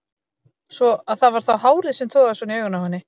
Svo að það var þá hárið sem togaði svona í augun á henni!